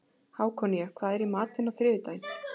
Hákonía, hvað er í matinn á þriðjudaginn?